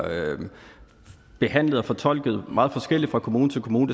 behandlet og fortolket meget forskelligt fra kommune til kommune